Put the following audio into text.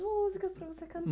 Das músicas para você cantar.